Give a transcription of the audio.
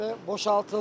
Və boşaltıldı.